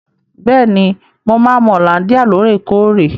Bẹ́ẹ̀ni, mo máa ń mu hollandia lóòrèkóòrè.